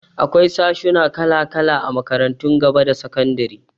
Akwai sashuna kala-kala a makarantun gaba da sakandari.